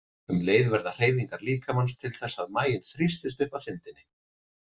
Um leið verða hreyfingar líkamans til þess að maginn þrýstist upp að þindinni.